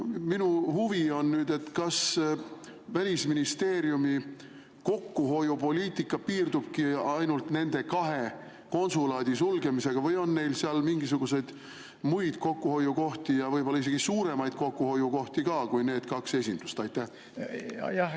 Minu huvi on, kas Välisministeeriumi kokkuhoiupoliitika piirdubki ainult nende kahe konsulaadi sulgemisega või on neil seal ka mingisuguseid muid kokkuhoiukohti ja võib-olla isegi suuremaid kokkuhoiukohti kui nende kahe esinduse sulgemine.